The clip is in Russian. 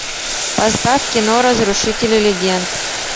поставь кино разрушители легенд